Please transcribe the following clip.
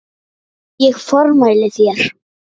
Ég formæli þér